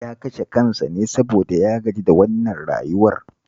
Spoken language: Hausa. Ya kashe kansa ne saboda ya gaji da wannan rayuwar